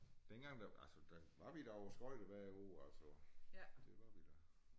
Dengang der altså der var vi da og skøjte hver uge altså det var vi da